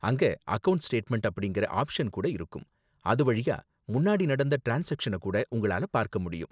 அங்க account statement அப்படிங்கற option கூட இருக்கும், அது வழியா முன்னாடி நடந்த ட்ரான்ஸ்சாக்சன கூட உங்களால பார்க்க முடியும்.